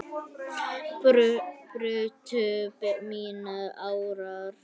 brutu mínar árar